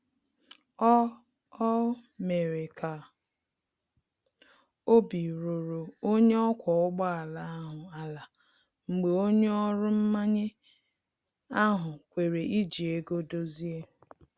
O O mere ka obi ruru onye ọkwa ụgbọ ala ahụ ala mgbe onye ọrụ mmanye ahụ kwere iji ego dozie